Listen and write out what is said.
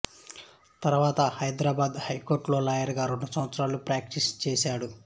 తర్వాత హైదరాబాదు హైకోర్టులో లాయరుగా రెండు సంవత్సరాలు ప్రాక్టీసు చేశాడు